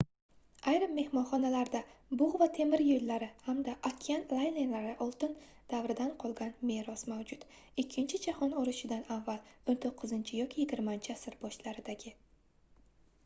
ayrim mehmonxonalarda bugʻ temir yoʻllari hamda okean laynerlari oltin davridan qolgan meros mavjud ikkinchi jahon urushidan avval 19 yoki 20-asr boshlaridagi